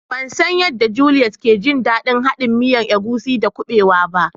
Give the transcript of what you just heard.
Ban san yanda " Juliet" ya ke jin dandin haɗin miyan agushi da kubewa ba.